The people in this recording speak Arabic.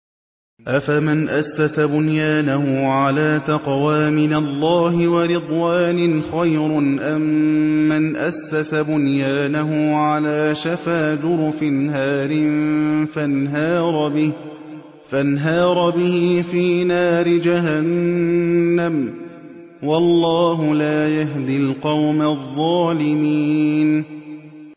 أَفَمَنْ أَسَّسَ بُنْيَانَهُ عَلَىٰ تَقْوَىٰ مِنَ اللَّهِ وَرِضْوَانٍ خَيْرٌ أَم مَّنْ أَسَّسَ بُنْيَانَهُ عَلَىٰ شَفَا جُرُفٍ هَارٍ فَانْهَارَ بِهِ فِي نَارِ جَهَنَّمَ ۗ وَاللَّهُ لَا يَهْدِي الْقَوْمَ الظَّالِمِينَ